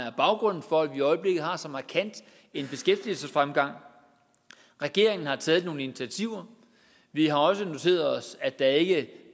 er baggrunden for at vi i øjeblikket har så markant en beskæftigelsesfremgang regeringen har taget nogle initiativer vi har også noteret os at der ikke